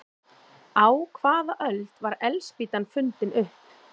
Á hvaða öld var eldspýtan fundin upp?